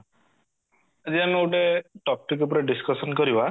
ଆଜି ଆମ ଏଗୋଟେ topic ଉପରେ discussion କରିବା